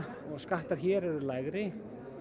og skattar hér eru lægri